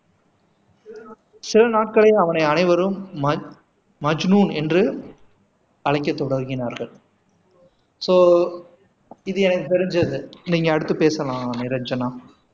சில நாட்களில் அவனை அனைவரும் மஜ்னுன் என்று அழைக்கத் தொடங்கினார்கள் சோ இது எனக்கு தெரிஞ்சது நீங்க அடுத்து பேசலாம் நிரஞ்சனா